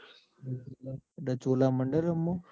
માંડલ રામે? .